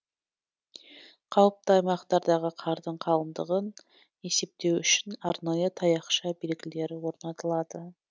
қауіпті аймақтардағы қардың қалыңдығын есептеу үшін арнайы таяқша белгілер орнатылады